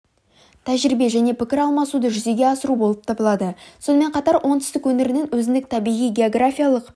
тәжірибе және пікір алмасуды жүзеге асыру болып табылады сонымен қатар оңтүстік өңірінің өзіндік табиғи географиялық